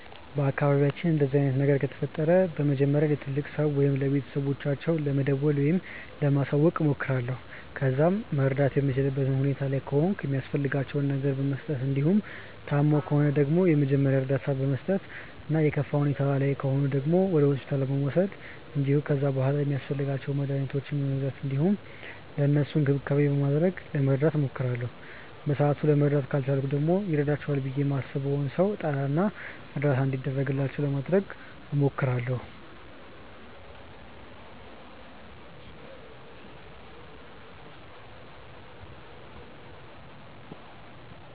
በአካባቢያችን እንደዚህ አይነት ነገር ከተፈጠረ መጀመሪያ ለትልቅ ሰው ወይም ለቤተሰቦቻቸው ለመደወል ወይም ለማሳወቅ እሞክራለሁ። ከዛ መርዳት የምችልበት ሁኔታ ላይ ከሆንኩ የሚያስፈልጋቸውን ነገር በመስጠት እንዲሁም ታመው ከሆነ ደግሞ የመጀመሪያ እርዳታ በመስጠት እና የከፋ ሁኔታ ላይ ከሆኑ ደግሞ ወደ ሆስፒታል በመውሰድ እንዲሁም ከዛ በሗላ ሚያስፈልጓቸውን መድኃኒቶች በመግዛት እንዲሁም ለእነሱም እንክብካቤ በማድረግ ለመርዳት እሞክራለሁ። በሰአቱ ለመርዳት ካልቻልኩ ደግሞ ይረዳቸዋል ብዬ ማስበውን ሰው እጠራ እና እርዳታ እንዲደረግላቸው ለማድረግ እሞክራለሁ።